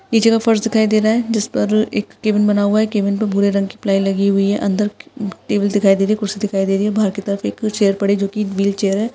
नीचे का फर्स दिखाई दे रहा है जिस पर केबिन बना हुआ है कैबिन पर भूरे रंग का फ्लाई लगी हुई है अंदर त-टेबल दिखाई दे रही है कुर्सी दिखाई दे रही है बार की तरफ एक दो चैर पड़ी है जोकी व्हीलचेयर है।